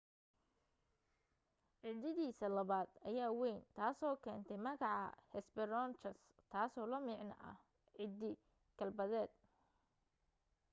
ciddidiisa labaad ayaa wayn taasoo keentay magaca hesperonychus taasoo la macno ah ciddi galbeedeed